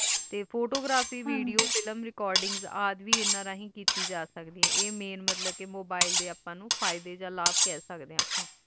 ਤੇ photogrphy, video, film, recording, ਵੇ ਐਡੇ ਨਾਲ ਕੀਤੀ ਜਾ ਸਕਦੈ ਆਏ ਤੇ ਆਈ main mobile ਡੇ ਫਾਇਦੇ ਆ ਲਾਵ ਵੇ ਕਹਿ ਸਕਦੇ ਆ